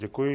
Děkuji.